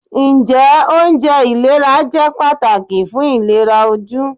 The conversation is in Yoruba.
Njẹ ounjẹ ilera jẹ pataki fun ilera oju.